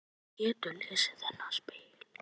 Hún getur lesið þennan spegil.